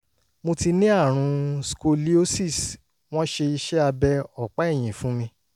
mo ti ní àrùn scoliosis wọ́n ṣe iṣẹ́ abẹ ọ̀pá ẹ̀yìn fún mi